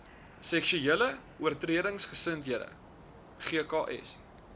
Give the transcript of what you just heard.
seksuele oortredingseenhede gks